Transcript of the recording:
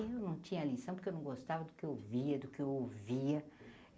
Eu não tinha lição porque eu não gostava do que eu via, do que eu ouvia.